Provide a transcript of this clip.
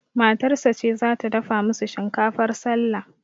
Matarsa ce zata dafa musu shinkafar sallah